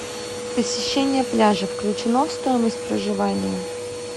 посещение пляжа включено в стоимость проживания